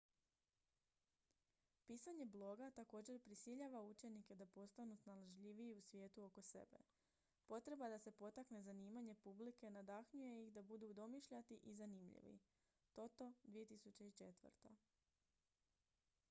pisanje bloga također prisiljava učenike da postanu snalažljiviji u svijetu oko sebe”. potreba da se potakne zanimanje publike nadahnjuje ih da budu domišljati i zanimljivi toto 2004